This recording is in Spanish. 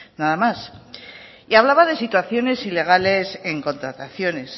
nada más y hablaba de situaciones ilegales en contrataciones